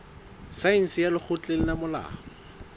saense ya lekgotleng la molao